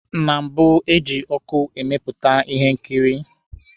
Na mbụ, eji ọkụ emepụta Ihe nkiri.